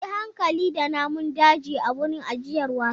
Yi hankali da namun daji a wurin ajiyar wasan!